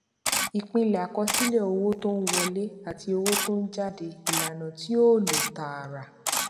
ìpìlẹ àkọsílẹ owó tó ń wọlé àti owó tó ń jáde ìlànà tí ó lọ tààrà